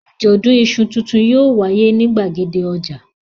Àjọ̀dún iṣu tuntun yóò wáyé ní ìgbàgede ọjà.